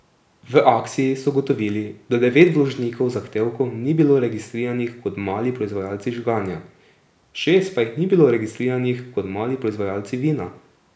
V akciji so ugotovili, da devet vložnikov zahtevkov ni bilo registriranih kot mali proizvajalci žganja, šest pa jih ni bilo registriranih kot mali proizvajalci vina.